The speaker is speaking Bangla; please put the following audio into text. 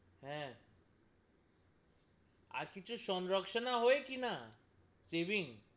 হ্যাঁ, আর কিছু সংরক্ষণা হয় কি না? saving,